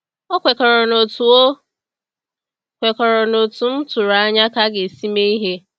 O kwekọrọ n’otú O kwekọrọ n’otú m tụrụ anya ka a ga-esi mee ihe.